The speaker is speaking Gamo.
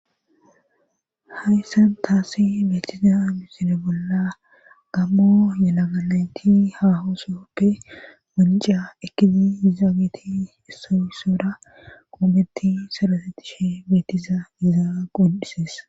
hayssan taasi beetiza misine bolla gammo yalaganayti hahosoppe manca ekizi izaabeti issoysora qoometti sarasettishe beetiza izaa qoddisees